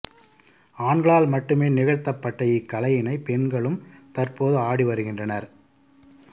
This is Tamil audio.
ஆண்களால் மட்டுமே நிகழ்த்தப்பட்ட இக்கலையினை பெண்களும் தற்போது ஆடி வருகின்றனர்